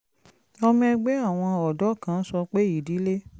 ọmọ ẹgbẹ́ àwọn ọ̀dọ́ kan sọ pé ìdílé